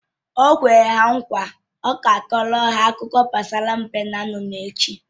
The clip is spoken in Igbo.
O kwere ha nkwa na ya ga-akọọrọ ha akụkọ gbasara mbe na nnụnụ echi